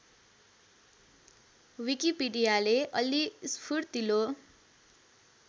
विकिपीडियाले अलि स्फूर्तिलो